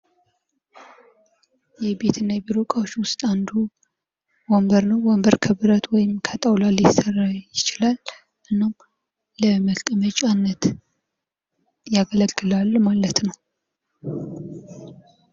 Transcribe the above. የቢሮ ወንበሮች የጀርባ ድጋፍ የሚሰጡና ለረጅም ሰዓታት ለመሥራት ምቹ እንዲሆኑ ተደርገው የተሰሩ ናቸው።